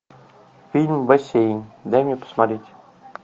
фильм бассейн дай мне посмотреть